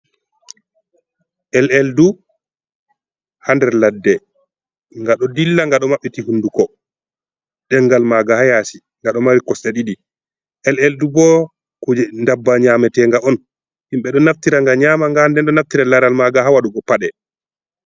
Eleldu hader ladde gado dilla gado mabɓiti hunduko dengal maga hayasi gado mari kosta ɗidi, eleldu bo kuje ndabba nyametenga on himɓe do naftira ga nyama nga nden do naftira laral maga ha wadugo pade.